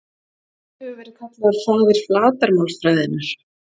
Hver hefur verið kallaður faðir flatarmálsfræðinnar?